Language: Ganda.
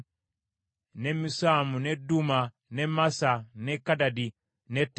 ne Misuma, ne Duma, ne Massa, ne Kadadi, ne Teema,